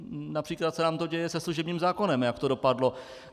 Například se nám to děje se služebním zákonem, jak to dopadlo.